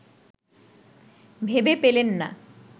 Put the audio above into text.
ভেবে পেলেন না